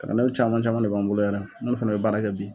Kalandenw caman caman de b'an bolo yɛrɛ an ni olu fana bɛ baara kɛ bi.